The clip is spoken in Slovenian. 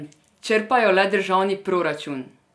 Črpajo le državni proračun!